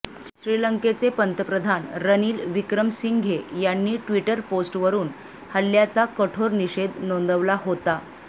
श्रीलंकेचे पंतप्रधान रणील विक्रमसिंघे यांनी ट्विटर पोस्ट वरून हल्ल्याचा कठोर निषेध नोंदवला होता